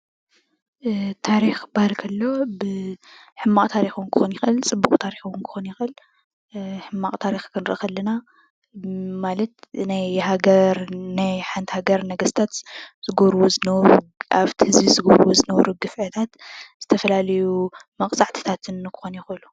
ታሪክ ክበሃል ከሎ ሕማቅ ታሪክ ክኮን ይክእል ፅቡቅ ታሪክ ክኮን ይክእል:: ሕማቅ ታሪክ ክንርኢ ከለና ናይ ሓንቲ ሃገር ኮታስ ኣብቲ ህዝቢ ዝገብርዎ ዝነበሩ ግፍዕታት ዝተፈላለዩ መቅፃዕትታት ክኮኑ ይክእሉ፡፡